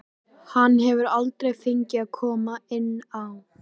Hann hefur aldrei fengið að koma inn á.